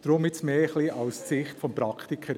deshalb jetzt mehr aus der Sicht des Praktikers.